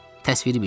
Təsviri bir şey.